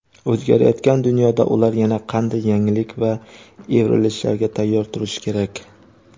o‘zgarayotgan dunyoda ular yana qanday yangilik va evrilishlarga tayyor turishi kerak?.